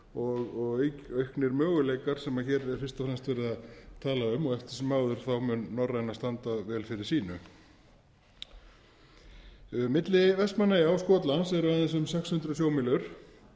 og auknir möguleikar sem hér er fyrst og fremst verið að tala um og eftir sem áður mun norræna standa vel fyrir sínu milli vestmannaeyja og skotlands eru aðeins um sex hundruð sjómílur